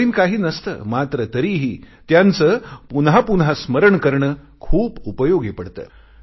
नवीन काही नसते मात्र तरीही त्यांचे पुन्हा पुन्हा स्मरण करणे खूप उपयोगी पडते